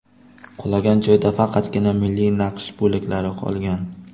Qulagan joyda faqatgina milliy naqsh bo‘laklari qolgan.